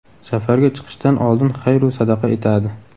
Safarga chiqishdan oldin xayr-u sadaqa etadi.